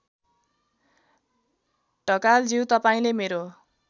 ढकालज्यू तपाईँले मेरो